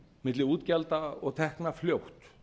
milli útgjalda og tekna fljótt